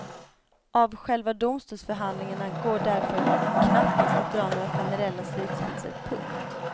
Av själva domstolsförhandlingen går därför knappast att dra några generella slutsatser. punkt